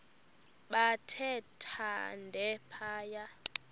bathe thande phaya